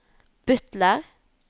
butler